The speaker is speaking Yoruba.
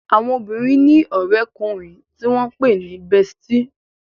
Àwọn obìrin ní òré ọkùnrin tí wón pé ní "bestie"